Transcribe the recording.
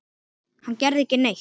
Hann gerði ekki neitt.